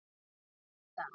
Ég datt.